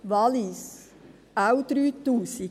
Wallis, auch 3000 Franken.